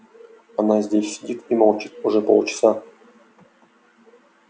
она здесь сидит и молчит уже полчаса